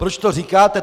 Proč to říkáte?